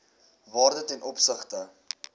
waarde ten opsigte